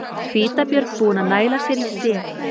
Hvítabjörn búinn að næla sér í sel.